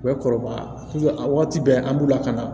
U bɛ kɔrɔbaya a wagati bɛɛ an b'u lakana